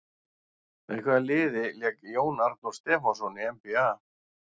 Með hvaða liði lék Jón Arnór Stefánsson í NBA?